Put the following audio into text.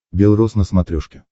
бел роз на смотрешке